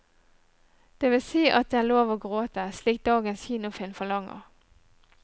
Det vil si at det er lov å gråte, slik dagens kinofilm forlanger.